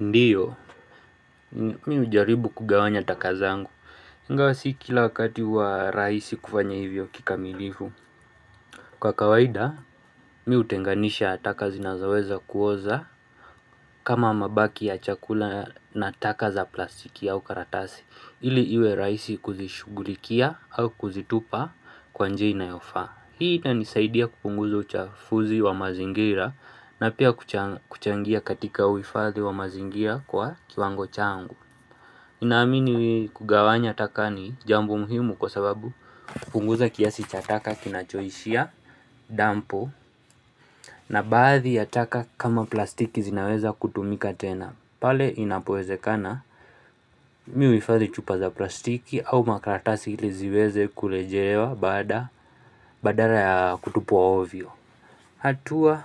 Ndiyo, mimi hujaribu kugawanya taka zangu, ingawa sio kila wakati huwa rahisi kufanya hivyo kikamilifu. Kwa kawaida, mimi hutenganisha taka zinazoweza kuoza kama mabaki ya chakula na taka za plastiki au karatasi, ili iwe raisi kuzishugulikia au kuzitupa kwa njia inayofaa. Hii inanisaidia kupunguza uchafuzi wa mazingira na pia kuchangia katika uhifadhi wa mazingira kwa kiwango changu. Naamini kugawanya taka ni jambo muhimu kwa sababu kupunguza kiasi cha taka kinachoishia, dampu na baadhi ya taka kama plastiki zinaweza kutumika tena. Pale inapowezekana mimi uhifadhi chupa za plastiki au makaratasi ili ziweze kurejelewa baada badala ya kutupwa ovyo. Hatua